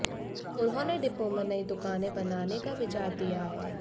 उन्होंने डिपो में नई दुकानें बनाने का विचार दिया है